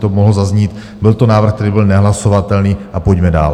to mohlo zaznít, byl to návrh, který byl nehlasovatelný a pojďme dál.